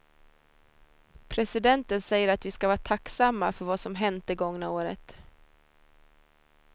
Presidenten säger att vi ska vara tacksamma för vad som hänt det gångna året.